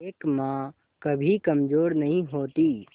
एक मां कभी कमजोर नहीं होती